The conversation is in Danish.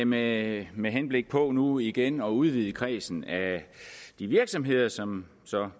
med med henblik på nu igen at udvide kredsen af virksomheder som